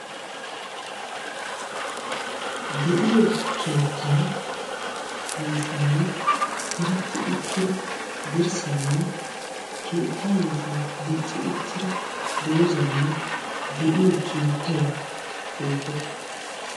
De'iyo keettay yuushuwan diretti utti uttida dirssaynne keettaa yuushuwan dicci uttida doozzaynne de'iyo keettay beettees.